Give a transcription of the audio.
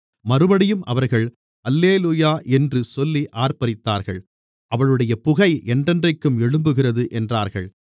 மறுபடியும் அவர்கள் அல்லேலூயா என்று சொல்லி ஆர்ப்பரித்தார்கள் அவளுடைய புகை என்றென்றைக்கும் எழும்புகிறது என்றார்கள்